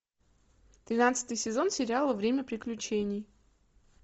тринадцатый сезон сериала время приключений